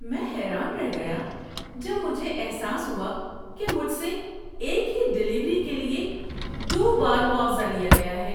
میں حیران رہ گیا جب مجھے احساس ہوا کہ مجھ سے ایک ہی ڈیلیوری کے لیے دو بار معاوضہ لیا گیا ہے!